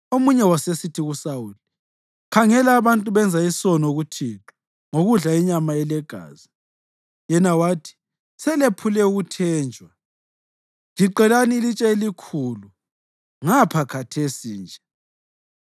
Omunye wasesithi kuSawuli, “Khangela abantu benza isono kuThixo ngokudla inyama elegazi.” Yena wathi, “Selephule ukuthenjwa. Giqelani ilitshe elikhulu ngapha khathesi nje.”